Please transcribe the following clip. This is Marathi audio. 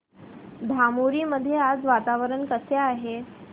धामोरी मध्ये आज वातावरण कसे आहे